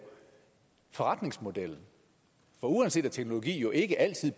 forretningsmodellen uanset at teknologi jo ikke altid